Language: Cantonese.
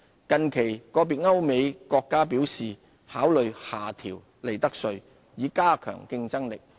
近期個別歐美國家表示考慮下調利得稅，以加強競爭力。